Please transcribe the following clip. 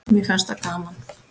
Mér fannst það gaman.